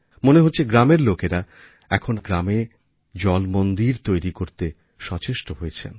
মনে হচ্ছে গ্রামের লোকেরা এখন নিজেদের গ্রামে জলমন্দির তৈরি করতে সচেষ্ট হয়েছেন